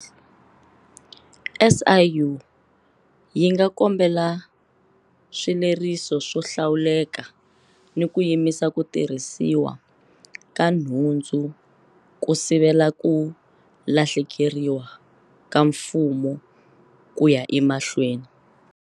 SIU yi nga kombela swileriso swo hlawuleka ni ku yimisa ku tirhisiwa ka nhundzu ku sivela ku lahlekeriwa ka Mfumo ku ya emahlweni.